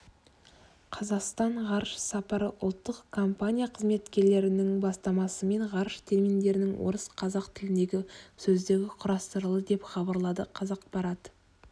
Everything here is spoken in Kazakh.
қазақстан ғарыш сапары ұлттық компания қызметкерлерінің бастамасымен ғарыш терминдерінің орыс-қазақ тіліндегі сөздігі құрастырылды деп хабарлады қазақпарат